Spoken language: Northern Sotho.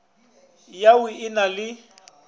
ya au e na le